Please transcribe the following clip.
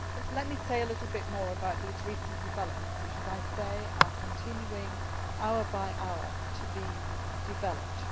Let me say a little more about recent developments which, as I say, are continuing hour by hour to be developed.